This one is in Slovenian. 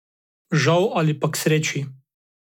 Žal ali pa k sreči.